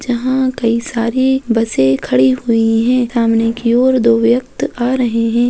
जहाँ कई सारी बसे खड़ी हुई हैं सामने की ओर दो व्यक्त आ रहे हैं।